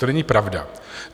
To není pravda!